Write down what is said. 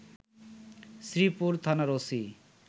শ্রীপুর থানার ওসি